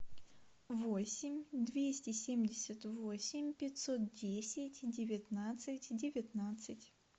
восемь двести семьдесят восемь пятьсот десять девятнадцать девятнадцать